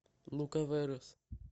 лукаверос